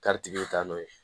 tigi bɛ taa n'o ye